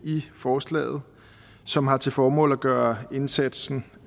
i forslaget som har til formål at gøre indsatsen